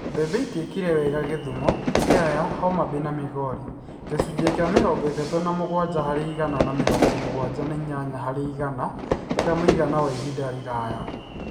Mbembe itiekire wega Kisumu, Siaya, Homa Bay na Migori (gĩcunjĩ kĩa mĩrongo ĩtatũ na mũgwanja harĩ igana na mĩrongo mũgwanja na inyanya harĩ igana kĩa mũigana wa ihinda iraya).